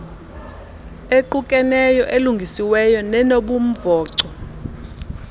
equkeneyo elungisiweyo nenobumvoco